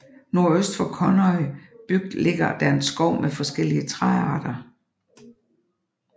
Nordøst for Kunoy bygd ligger der en skov med forskellige træarter